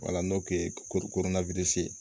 n'o ye korona